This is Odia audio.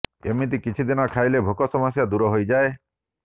ଏମିତି କିଛି ଦିନ ଖାଇଲେ ଭୋକ ସମସ୍ୟା ଦୂର ହୋଇଯାଏ